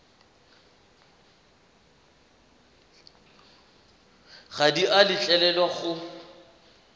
ga di a letlelelwa go